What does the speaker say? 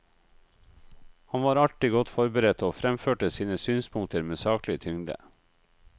Han var alltid godt forberedt, og fremførte sine synspunkter med saklig tyngde.